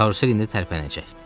Karusel indi tərpənəcək.